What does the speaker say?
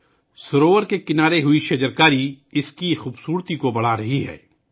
جھیل کے کناروں پر شجرکاری اس کی خوبصورتی میں اضافہ کر رہی ہے